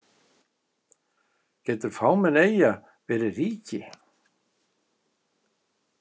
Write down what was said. Getur fámenn eyja verið ríki?